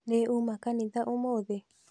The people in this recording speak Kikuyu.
Nĩ uma kanitha ũmũthĩ?